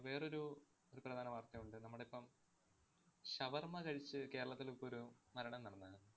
വേറൊരു ഒരു പ്രധാന വാര്‍ത്തയുണ്ട്. നമ്മടെ ഇപ്പം shawarma കഴിച്ച് കേരളത്തിലിപ്പൊരു മരണം നടന്നാരുന്നു.